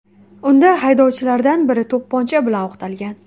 Unda haydovchilardan biri to‘pponcha bilan o‘qtalgan.